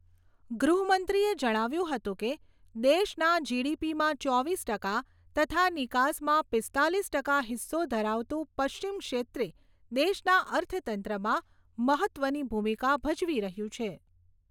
ગૃહમંત્રીએ જણાવ્યું હતું કે, દેશના જીડીપીમાં ચોવીસ ટકા તથા નિકાસમાં પીસ્તાલીસ ટકા હિસ્સો ધરાવતું પશ્ચિમ ક્ષેત્રે દેશના અર્થતંત્રમાં મહત્ત્વની ભૂમિકા ભજવી રહ્યું છે.